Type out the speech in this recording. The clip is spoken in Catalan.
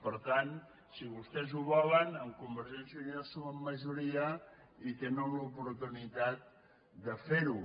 per tant si vostès ho volen amb convergència i unió sumen majoria i tenen l’oportunitat de fer ho